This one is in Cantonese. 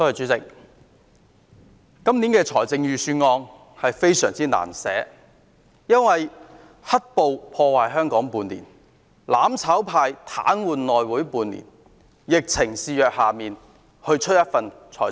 主席，今年的財政預算案非常難編製，因為"黑暴"破壞香港半年，"攬炒派"癱瘓內會半年，現在又疫情肆虐。